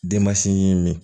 Denmasin min